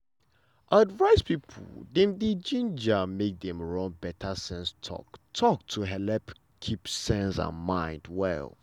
advice people dem dey gingered make dem run better sense talk-talk to helep keep sense and mind well.